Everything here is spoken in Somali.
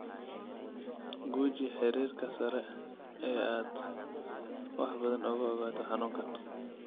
Guji xiriirka sare si aad wax badan uga ogaato xanuunkan.